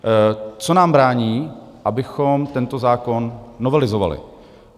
Co nám brání, abychom tento zákon novelizovali?